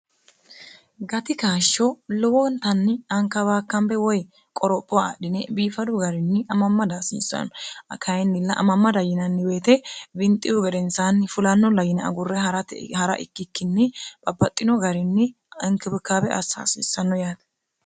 gati kaashsho lowoontanni anka baakkambe woy qoropho aadhine biifadu garinni amamma daasiissanno kayinnilla amammada yinanni woyite binxiyu gedensaanni fulanno la yina agurre 'rt ha'ra ikkikkinni babaxxino garinni inkibikaabe assaasiissanno yaate